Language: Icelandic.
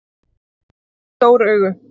Hann rak upp stór augu.